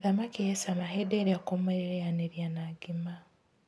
Thamaki ĩ cama hĩndĩ ĩrĩa ũkũmĩrĩanĩria na ngima.